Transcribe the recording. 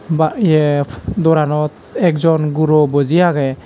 ba yep doaranot ekjon guro buji aagey.